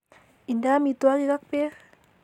Inde amitwogik ak beek